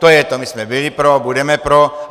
To je to, my jsme byli pro, budeme pro.